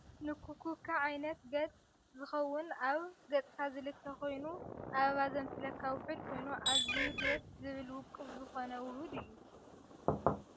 ንኩኩከ ዓይነት ገዕ ዝከውን ኣብ ገፅካ ዝልከ ክይኑ ኣበባ ዘምስለካ ውህድ ኮይኑ ኣዝየዩ ደስ ዝብል ውቅብ ዝኮነ ውሁድ እዩ ።